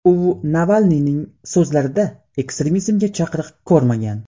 U Navalniyning so‘zlarida ekstremizmga chaqiriq ko‘rmagan.